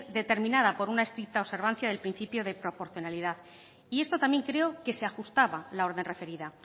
determinada por una estricta observancia del principio de proporcionalidad y esto también creo que se ajustaba la orden referida